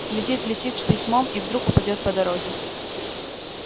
летит летит с письмом и вдруг упадёт по дороге